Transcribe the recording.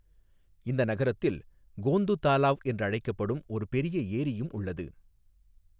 இந்த நகரத்தில் கோந்து தாலாவ் என்று அழைக்கப்படும் ஒரு பெரிய ஏரியும் உள்ளது.